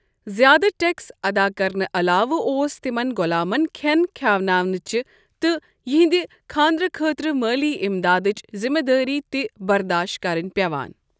زِیٛادٕ ٹیکس ادا کرنہٕ علاوٕ اوس تِمن غۄلامن کھٮ۪ن کھِٮ۪اناونٕچ تہٕ یِہنٛد خانٛدرٕ خٲطرٕ مٲلی امدادٕچ ذِمہِ دٲری تہِ برداشت کرٕنۍ پیوان ۔